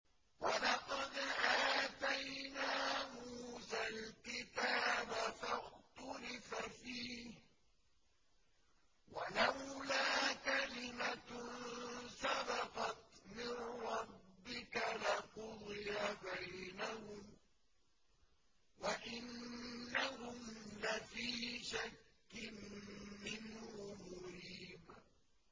وَلَقَدْ آتَيْنَا مُوسَى الْكِتَابَ فَاخْتُلِفَ فِيهِ ۚ وَلَوْلَا كَلِمَةٌ سَبَقَتْ مِن رَّبِّكَ لَقُضِيَ بَيْنَهُمْ ۚ وَإِنَّهُمْ لَفِي شَكٍّ مِّنْهُ مُرِيبٍ